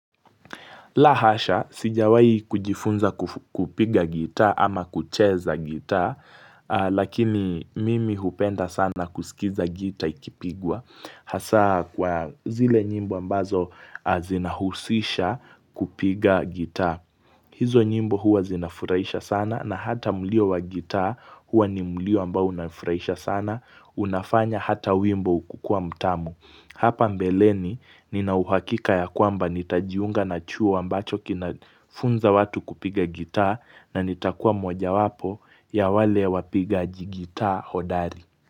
La hasha, sijawahi kujifunza kupiga gita ama kucheza gita, lakini mimi hupenda sana kusikiza gita ikipigwa, hasa kwa zile nyimbo ambazo zinahusisha kupiga gita. Hizo nyimbo huwa zinafurahisha sana na hata mlio wa gitaa huwa ni mlio ambao unafurahisha sana. Unafanya hata wimbo kukuwa mtamu. Hapa mbeleni nina uhakika ya kwamba nitajiunga na chuo ambacho kinafunza watu kupiga gitaa na nitakuwa mojawapo ya wale wapigaji gitaa hodari.